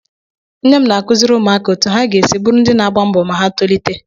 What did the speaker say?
Nne m na-akụziri ụmụaka otú ha ga-esi bụrụ ndị na-agba mbọ ma ha tolite.